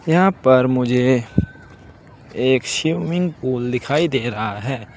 यहां पर मुझे एक स्विमिंग पूल दिखाई दे रहा है।